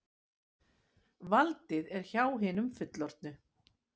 Valdið er hjá hinum fullorðnu.